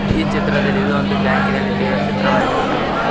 ಈ ಚಿತ್ರದಲ್ಲಿ ಇದು ಒಂದು ಬ್ಯಾಂಕಿನಲ್ಲಿ ತೆಗೆದ ಚಿತ್ರವಾಗಿರಬಹುದು.